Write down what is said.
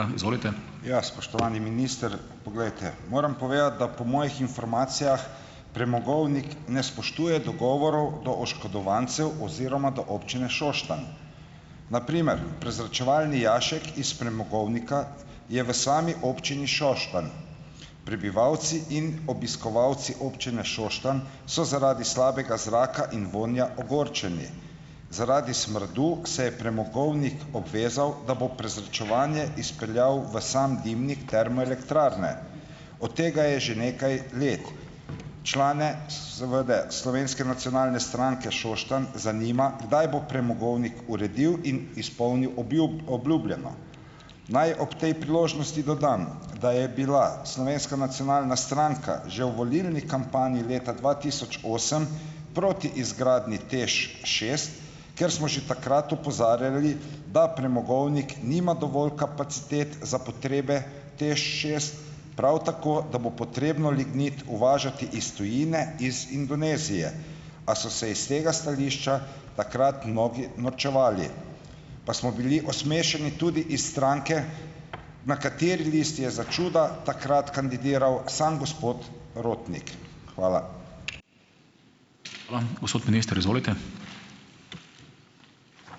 Ja, spoštovani minister, glejte. Moram povedati, da po mojih informacijah premogovnik ne spoštuje dogovorov do oškodovancev oziroma do Občine Šoštanj. Na primer, prezračevalni jašek iz premogovnika je v sami občini Šoštanj. Prebivalci in obiskovalci občine Šoštanj so zaradi slabega zraka in vonja ogorčeni. Zaradi smradu se je premogovnik obvezal, da bo prezračevanje izpeljal v sam dimnik termoelektrarne. Od tega je že nekaj let. Člane seveda, Slovenske nacionalne stranke Šoštanj, zanima, kdaj bo premogovnik uredil in izpolnil obljubljeno. Naj ob tej priložnosti dodam, da je bila Slovenska nacionalna stranka že v volilni kampanji leta dva tisoč osem, proti izgradnji TEŠ šest, ker smo že takrat opozarjali, da premogovnik nima dovolj kapacitet za potrebe TEŠ šest, prav tako, da bo potrebno lignit uvažati iz tujine, iz Indonezije, a so se iz tega stališča takrat mnogi norčevali. Pa smo bili osmešeni tudi iz stranke, na kateri listi je za čuda takrat kandidiral sam gospod Rotnik. Hvala.